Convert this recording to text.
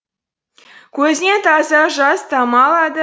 көзінен таза жас тама алады